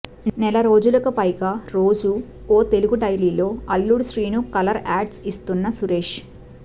నెలరోజులకు పైగా రోజు ఓ తెలుగు డైలీలో అల్లుడు శ్రీను కలర్ యాడ్స్ ఇస్తున్న సురేష్